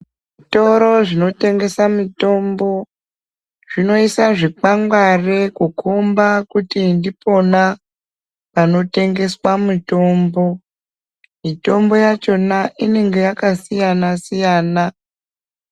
Zvitoro zvinotengesa mitombo, zvinoisa zvikwangwari kukomba kuti ndipona panotengeswa mitombo. Mitombo yachona inenga yakasiyana-siyana.